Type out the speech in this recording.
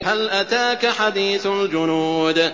هَلْ أَتَاكَ حَدِيثُ الْجُنُودِ